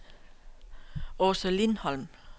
Aase Lindholm